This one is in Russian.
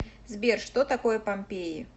сбер что такое помпеи